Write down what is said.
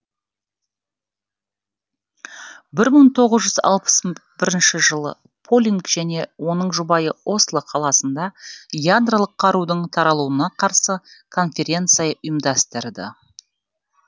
бір мың тоғыз жүз алпыс бірінші жылы полинг және оның жұбайы осло қаласында ядролық қарудың таралуына қарсы конференция ұйымдастырды